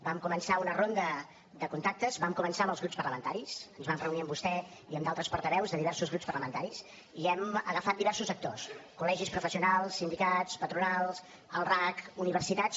vam començar una ronda de contactes vam començar amb els grups parlamentaris ens vam reunir amb vostè i amb d’altres portaveus de diversos grups parlamentaris i hem agafat diversos actors col·legis professionals sindicats patronals el racc universitats